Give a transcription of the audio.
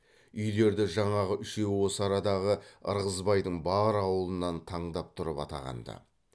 үйлерді жаңағы үшеуі осы арадағы ырғызбайдың бар аулынан таңдап тұрып атаған ды